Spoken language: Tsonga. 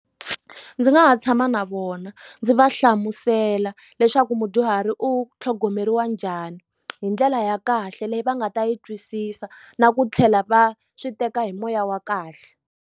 Ndzi nga ha tshama na vona ndzi va hlamusela leswaku mudyuhari u tlhogomeriwa njhani hi ndlela ya kahle leyi va nga ta yi twisisa na ku tlhela va swi teka hi moya wa kahle.